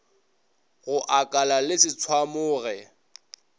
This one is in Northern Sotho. go akalala le se tshwamoge